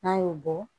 N'an y'o bɔ